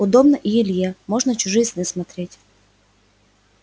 удобно и илье можно чужие сны смотреть